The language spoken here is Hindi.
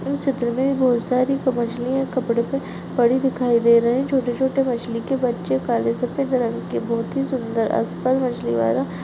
इस चित्र में बहुत सारी मछलियां कपड़े पे पड़ी दिखाई दे रहे छोटे-छोटे मछली के बच्चे काले सफेद रंग के बहुत ही सुन्दर आसपास मछली वाला--